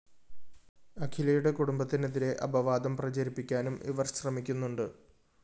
അഖിലയുടെ കുടുംബത്തിനെതിരെ അപവാദം പ്രചരിപ്പിക്കാനും ഇവര്‍ ശ്രമിക്കുന്നുണ്ട്